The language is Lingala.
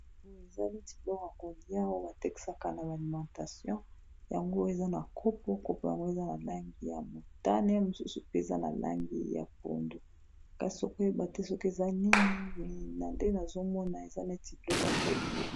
Eza neti biloko yakolia oyo batekesaka na ba alimentation yango eza na kopo, kopo yango eza na langi ya motane ye mosusu pe eza na langi ya pondu kasi okoyeba te soki eza nini mais na nde nazomona eza neti biloko ya kolia.